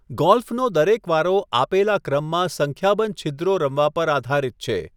ગોલ્ફનો દરેક વારો આપેલા ક્રમમાં સંખ્યાબંધ છિદ્રો રમવા પર આધારિત છે.